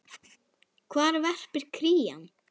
Hvar verpir krían?